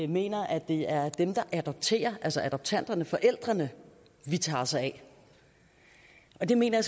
mener at det er dem der adopterer altså adoptanterne forældrene vi tager os af og det mener